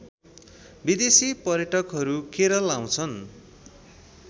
विदेशी पर्यटकहरू केरल आउँछन्